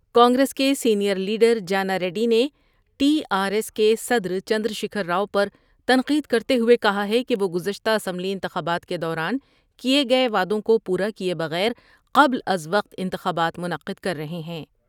کانگریس کے senior leader Jana Reddy نے T R S کے صدر چندرشیکھر راؤ پرتنقید کرتے ہوے کہا ہے کہ وہ گزشتہ اسمبلی انتخابات کے دوران کیے گئے دعدوں کو پورا کیے بغیر قبل از وقت انتخابات منعقد کر رہے ہیں